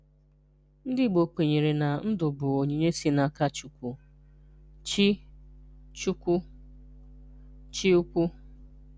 Ndị́ Ìgbò kwènyèrè na Ndụ̀ bụ̀ onyínyè sị̀ n’aká Chúkwù (Chí Chúkwù (Chí Ụ́kwù),